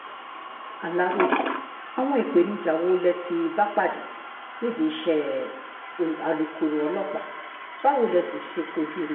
aláròye àwọn ìpèníjà wo lẹ ti bá pàdé nídìí iṣẹ́ alukoro ọlọ́pàá báwo lẹ sì ṣe kojú wọn